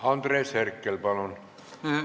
Andres Herkel, palun!